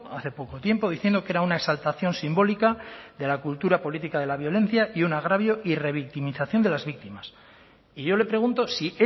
hace poco tiempo diciendo que era una exaltación simbólica de la cultura política de la violencia y un agravio y revictimización de las víctimas y yo le pregunto si